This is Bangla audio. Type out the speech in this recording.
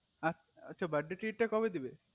আচ্ছা birthday treat টা তালে কবে দেবে